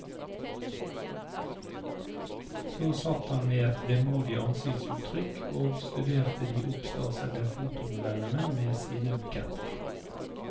Så satt han med et vemodig ansiktsuttrykk og studerte de oppstasede fotomodellene med sine buketter.